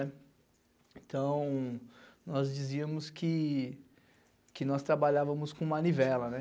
Então, nós dizíamos que nós trabalhávamos com manivela.